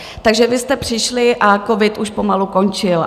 Takže vy jste přišli a covid už pomalu končil.